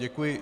Děkuji.